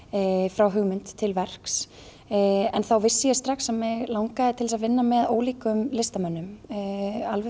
frá hugmynd til verks en þá vissi ég strax að mig langaði til að vinna með ólíkum listamönnum alveg